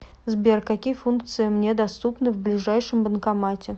сбер какие функции мне доступны в ближайшем банкомате